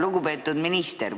Lugupeetud minister!